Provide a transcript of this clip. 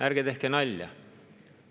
Ärge tehke nalja!